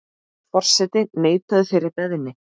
Forseti neitaði þeirri beiðni.